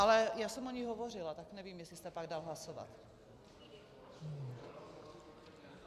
Ale já jsem o ní hovořila, tak nevím, jestli jste pak dal hlasovat.